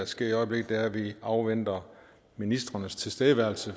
sker i øjeblikket er at vi afventer ministrenes tilstedeværelse